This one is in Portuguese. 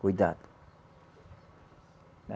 Cuidado!